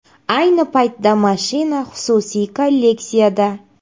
Ayni paytda mashina xususiy kolleksiyada.